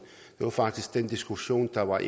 det var faktisk den diskussion der var